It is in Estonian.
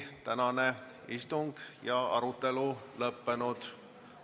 Tänane istung ja arutelu on lõppenud.